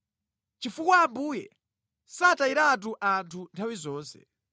Chifukwa Ambuye satayiratu anthu nthawi zonse.